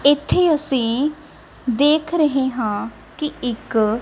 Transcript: ਇੱਥੇ ਅਸੀ ਦੇਖ ਰਹੇ ਹਾਂ ਕਿ ਇੱਕ--